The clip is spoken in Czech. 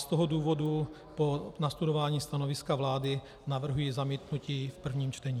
Z toho důvodu po nastudování stanoviska vlády navrhuji zamítnutí v prvním čtení.